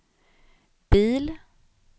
bil